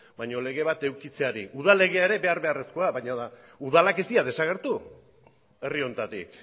baina legea edukitzeari udal legea beharrezkoa da baina udalak ez dira desagertu herri honetatik